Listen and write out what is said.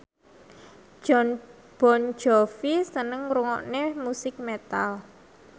Jon Bon Jovi seneng ngrungokne musik metal